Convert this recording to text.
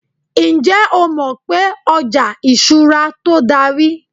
njé o mọ pé oja ìṣura to dari